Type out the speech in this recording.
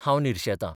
हांव निर्शेतां....